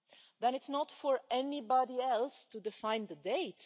Then it's not for anybody else to define the date